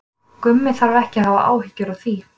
Gummi þarf ekki að hafa áhyggjur af því.